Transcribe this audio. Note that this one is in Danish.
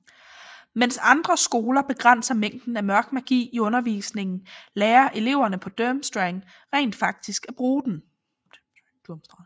Mens andre skoler begrænser mængden af Mørk Magi i undervisningen lærer eleverne på Durmstrang rent faktisk at bruge den